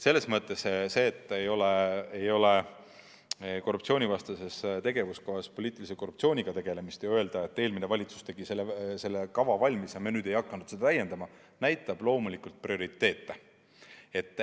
Selles mõttes see, et ei ole korruptsioonivastases komisjonis poliitilise korruptsiooniga tegelemist ja nüüd öelda, et eelmine valitsus tegi selle kava valmis ja me ei hakanud seda täiendama – see näitab loomulikult prioriteete.